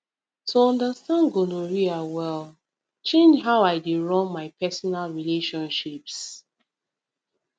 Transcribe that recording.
to understand gonorrhea well change how i dey run my personal relationships